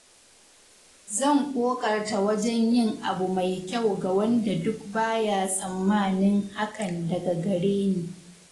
Zan ƙoƙarta wajen yin abu mai kyau ga wanda duk ba ya tsammanin hakan daga gare ni.